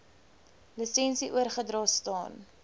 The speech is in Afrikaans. lisensie oorgedra staan